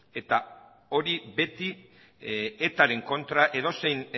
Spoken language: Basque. hori beti etaren kontra edozein